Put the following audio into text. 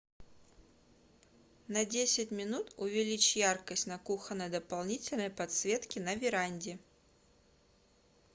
на десять минут увеличь яркость на кухонной дополнительной подсветке на веранде